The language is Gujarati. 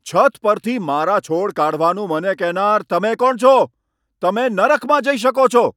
છત પરથી મારા છોડ કાઢવાનું મને કહેનાર તમે કોણ છો? તમે નરકમાં જઈ શકો છો?